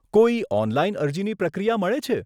કોઈ ઓનલાઈન અરજીની પ્રક્રિયા મળે છે?